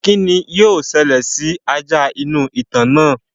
kín ni yóò ṣẹlẹ̀ sí ajá inú ìtàn náà?